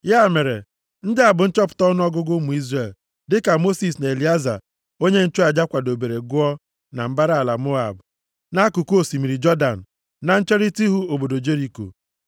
Ya mere, ndị a bụ nchọpụta ọnụọgụgụ ụmụ Izrel, dịka Mosis na Elieza onye nchụaja kwadobere gụọ na mbara ala Moab, nʼakụkụ osimiri Jọdan, na ncherita ihu obodo Jeriko.